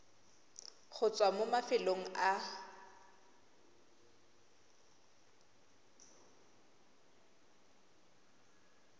go tswa mo mafelong a